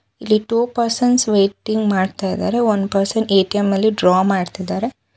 ಇಲ್ಲಿ two persons waiting ಮಾಡ್ತಿದ್ದಾರೆ one person ATM ಅಲ್ಲಿ ಡ್ರಾ ಮಾಡ್ತಿದ್ದಾರೆ.